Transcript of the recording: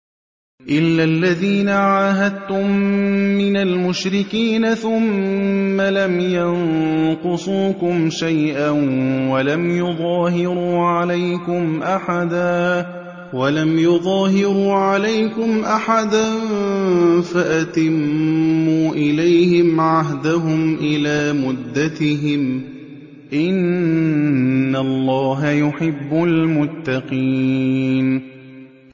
إِلَّا الَّذِينَ عَاهَدتُّم مِّنَ الْمُشْرِكِينَ ثُمَّ لَمْ يَنقُصُوكُمْ شَيْئًا وَلَمْ يُظَاهِرُوا عَلَيْكُمْ أَحَدًا فَأَتِمُّوا إِلَيْهِمْ عَهْدَهُمْ إِلَىٰ مُدَّتِهِمْ ۚ إِنَّ اللَّهَ يُحِبُّ الْمُتَّقِينَ